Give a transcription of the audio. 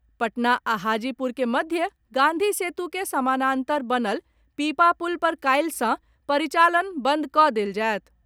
पटना आ हाजीपुर के मध्य गांधी सेतु के समानांतर बनल पीपा पुल पर काल्हि सॅ परिचालन बंद कऽ देल जायत।